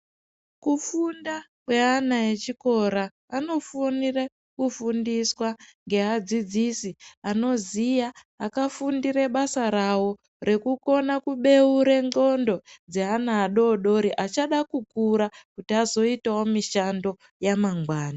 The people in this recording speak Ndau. Kufunda kweana echikora, anofanira kufundiswa ngeadzidzisi akafundire basa ravo, rekukona kubeure ndxondo dzeana adodori, achada kukura, kuti azoitawo mishando yamangwani.